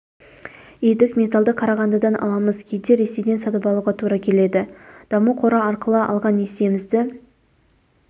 едік металлды қарағандыдан аламыз кейде ресейден сатып алуға тура келеді даму қоры арқылы алған несиемізді